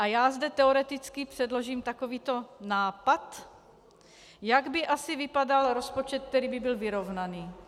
A já zde teoreticky předložím takovýto nápad, jak by asi vypadal rozpočet, který by byl vyrovnaný.